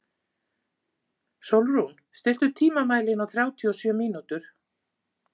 Sólrún, stilltu tímamælinn á þrjátíu og sjö mínútur.